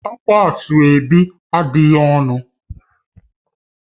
Ákwá Asoebi adịghị ọnụ